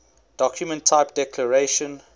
document type declaration